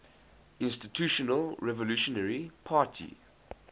institutional revolutionary party